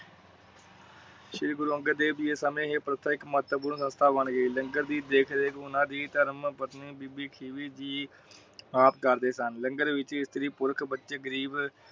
ਸ਼੍ਰੀ ਗੁਰੂ ਅੰਗਦ ਦੇਵ ਜੀ ਸਮੇਂ ਪ੍ਰਤੇਕ ਮਾਤਰ ਪੂਰਨ ਸੰਸਥਾ ਬਣ ਗਯੀ। ਲੰਗਰ ਦੀ ਦੇਖ ਰੇਖ ਓਨਾ ਦੀ ਧਰਮ ਪਤਨੀ ਬੀਬੀ ਖਿਬੀ ਜੀ ਆਪ ਕਰਦੇ ਸਨ। ਲੰਗਰ ਵਿਚ ਇਸਤਰੀ ਪੁਰਖ ਬਚੇ ਗਰੀਬ